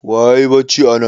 Wa yayi bacci anan?